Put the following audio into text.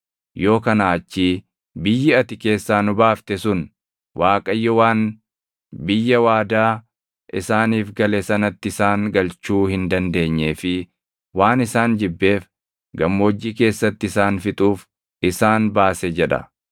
Yoo kanaa achii biyyi ati keessaa nu baafte sun, ‘ Waaqayyo waan biyya waadaa isaaniif gale sanatti isaan galchuu hin dandeenyee fi waan isaan jibbeef gammoojjii keessatti isaan fixuuf isaan baase’ jedha.